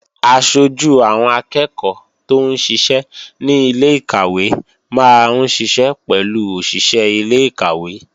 Aṣojú àwọn akẹ́ẹ̀kọ́ tóún ṣiṣẹ́ ní ilé-ìkàwé máa ń ṣiṣẹ́ pẹ̀lú òṣìṣé ilé-ìkàwé